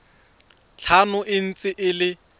tlhano e ntse e le